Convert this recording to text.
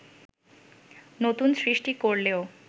নতুন সৃষ্টি করলেও